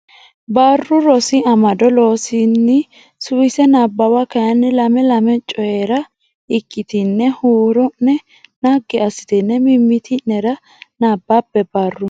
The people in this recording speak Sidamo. Barru Rosi Amado Loossinanni Suwise Nabbawa kayinni lame lame Coyi ra ikkitine huuro ne naggi assitine mimmiti nera nabbabbe Barru.